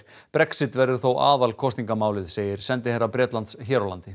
Brexit verður þó aðal kosningamálið segir sendiherra Bretlands hér á landi